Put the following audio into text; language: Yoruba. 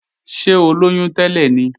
Ṣé ó lóyún tẹ́lẹ̀ ni?